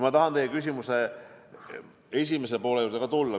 Ma tahan teie küsimuse esimese poole juurde ka tulla.